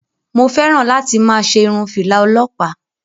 Mo fẹ́ràn láti máa ṣe irun fìlà ọlọpa.